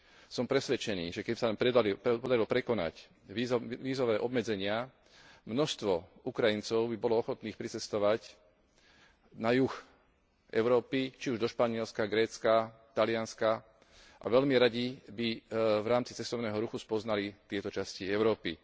Som presvedčený, že keby sa nám podarilo prekonať vízové obmedzenia, množstvo Ukrajincov by bolo ochotných pricestovať na juh Európy, či už do Španielska, Grécka, Talianska a veľmi radi by v rámci cestovného ruchu spoznali tieto časti Európy.